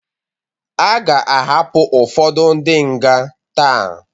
Aga ahapụ ụfodu ndi nga taa